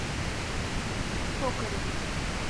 токареву